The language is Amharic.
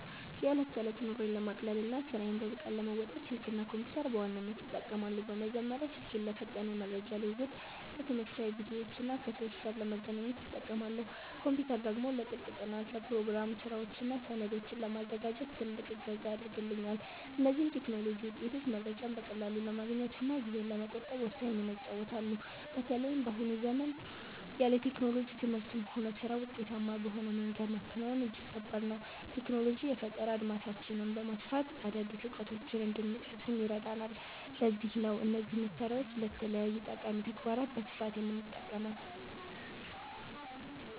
የዕለት ተዕለት ኑሮዬን ለማቅለልና ስራዬን በብቃት ለመወጣት፣ ስልክና ኮምፒተርን በዋናነት እጠቀማለሁ። በመጀመሪያ ስልኬን ለፈጣን የመረጃ ልውውጥ፣ ለትምህርታዊ ቪዲዮዎችና ከሰዎች ጋር ለመገናኛነት እጠቀማለሁ። ኮምፒተር ደግሞ ለጥልቅ ጥናት፣ ለፕሮግራም ስራዎችና ሰነዶችን ለማዘጋጀት ትልቅ እገዛ ያደርግልኛል። እነዚህ የቴክኖሎጂ ውጤቶች መረጃን በቀላሉ ለማግኘትና ጊዜን ለመቆጠብ ወሳኝ ሚና ይጫወታሉ። በተለይም በአሁኑ ዘመን ያለ ቴክኖሎጂ ትምህርትንም ሆነ ስራን ውጤታማ በሆነ መንገድ ማከናወን እጅግ ከባድ ነው። ቴክኖሎጂ የፈጠራ አድማሳችንን በማስፋት አዳዲስ እውቀቶችን እንድንቀስም ይረዳናል፤ ለዚህም ነው እነዚህን መሳሪያዎች ለተለያዩ ጠቃሚ ተግባራት በስፋት የምጠቀመው።